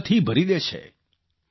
ઉર્જાથી ભરી દે છે